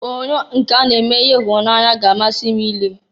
Onyoonyo nke a na-eme ihe ịhụnanya ga-amasị m i lee.